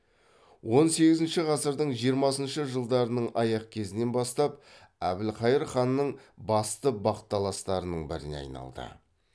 он сегізінші ғасырдың жиырмасыншы жылдарының аяқ кезінен бастап әбілқайыр ханның басты бақталастарының біріне айналды